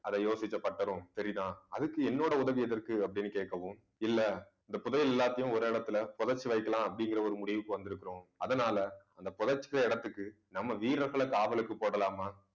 அதை யோசிச்ச பட்டரும் சரிதா அதுக்கு என்னோட உதவி எதற்கு அப்பிடின்னு கேட்கவும் இல்ல இந்த புதையல் எல்லாத்தையும் ஒரு இடத்தில புதைச்சு வைக்கலாம் அப்படிங்கிற ஒரு முடிவுக்கு வந்திருக்கிறோம் அதனால அந்த புதைச்ச இடத்துக்கு நம்ம வீரர்களை காவலுக்கு போடலாமா